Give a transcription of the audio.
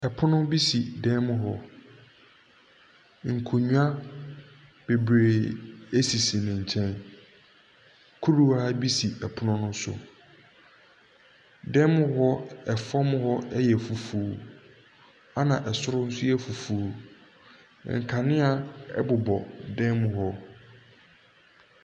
Pono bi si dan mu hɔ, nkonnwa bebree sisi ne nkyɛn, kuruwa bi si pono ne so. Dan mu hɔ fam hɔ yɛ fufuo, na soro nso yɛ fufuo. Nkanea bobɔ dan mu hɔ.